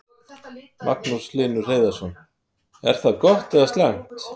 Magnús Hlynur Hreiðarsson: Er það gott eða slæmt?